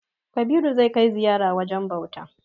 Kabiru zai kai ziyara wajen bauta.